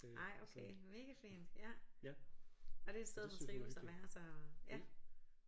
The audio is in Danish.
Ej okay mega fint ja og det er et sted hun trives at være så ja